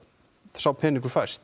sá peningur fæst